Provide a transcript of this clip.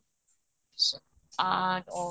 ଆଁ ଉଁ